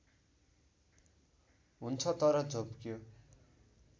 हुन्छ तर झोप्क्यो